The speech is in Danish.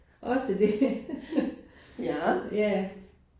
Også det. Ja